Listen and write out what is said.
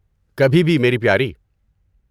کبھی بھی میری پیارے۔